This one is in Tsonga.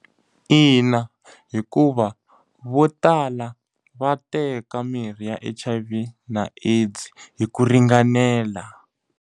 Ina hikuva, vo tala va teka mirhi ya H_I_V na AIDS hi ku ringanela.